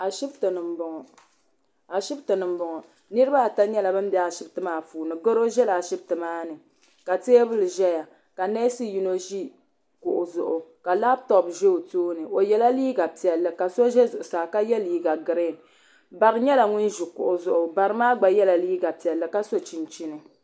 Ashibiti ni m-bɔŋɔ niriba ata nyɛla ban be Ashibiti maa puuni garo ʒela Ashibiti maa ni ka teebuli ʒeya ka neesi yino ʒi kuɣusi zuɣu ka labitopu ʒe o tooni o yela liiga piɛlli ka so ʒe zuɣusaa ka ye liiga giriin bari nyɛla ŋun ʒi kuɣu zuɣu bari maa gba yela liiga piɛlli ka so chinchini.